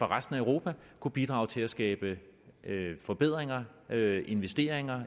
resten af europa kunne bidrage til at skabe forbedringer af og investeringer